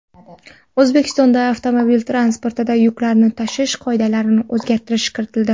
O‘zbekistonda avtomobil transportida yuklarni tashish qoidalariga o‘zgartirish kiritildi.